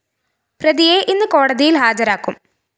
പ്രതിയെ ഇന്ന് കോടതിയില്‍ ഹാജരാക്കും